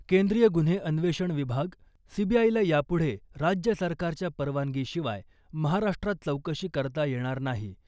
केंद्रीय गुन्हे अन्वेषण विभाग सीबीआयला यापुढे राज्य सरकारच्या परवानगीशिवाय महाराष्ट्रात चौकशी करता येणार नाही .